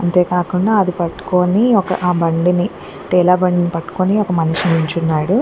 అంతేకాకుండా అది పట్టుకొని ఆ బండిని టేల బండిని పట్టుకొని ఒక మనిషి నిల్చున్నాడు.